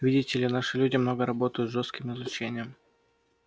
видите ли наши люди много работают с жёстким излучением